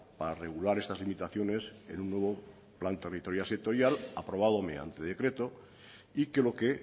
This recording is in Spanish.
para regular estas limitaciones en un nuevo plan territorial sectorial aprobado mediante decreto y que lo que